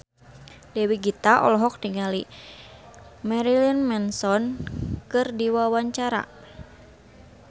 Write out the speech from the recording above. Dewi Gita olohok ningali Marilyn Manson keur diwawancara